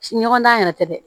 Ɲɔgɔn dan yɛrɛ tɛ dɛ